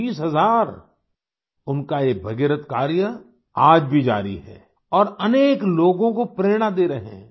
30 हजार उनका ये भागीरथ कार्य आज भी जारी है और अनेक लोगों को प्रेरणा दे रहे हैं